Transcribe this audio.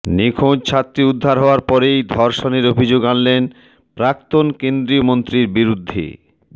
নিখোঁজ ছাত্রী উদ্ধার হওয়ার পরেই ধর্ষণের অভিযোগ আনলেন প্রাক্তন কেন্দ্রীয় মন্ত্রীর বিরুদ্ধে